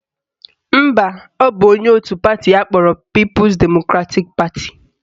Mba, ọ bụ onye otu pati akpọrọ People Democratic Party